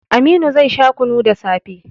Aminu zai sha kunu da safe